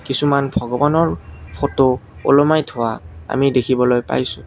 কিছুমান ভগৱানৰ ফটো ওলোমাই থোৱা আমি দেখিবলৈ পাইছোঁ।